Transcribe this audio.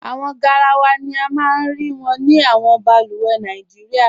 Awọn gáràwà ni a maa n rí wọn ni awọn bàlùwẹ̀ Nàìjíríà.